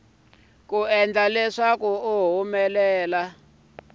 ku endla leswaku u nga